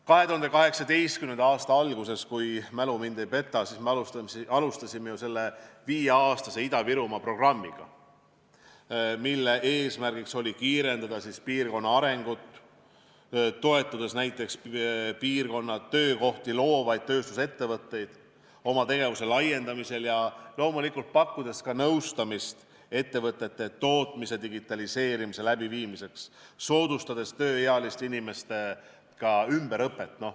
2018. aasta alguses, kui mälu mind ei peta, me alustasime viieaastase Ida-Virumaa programmiga, mille eesmärk oli kiirendada piirkonna arengut, toetades näiteks piirkonnas töökohti loovaid tööstusettevõtteid tegevuse laiendamisel ja loomulikult pakkudes ettevõtetele ka nõustamist, kuidas tootmist digitaliseerida ja soodustada tööealiste inimeste ümberõpet.